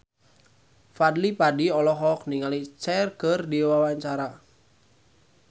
Fadly Padi olohok ningali Cher keur diwawancara